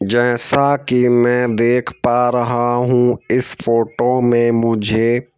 जैसा कि मैं देख पा रहा हूं इस फोटो में मुझे--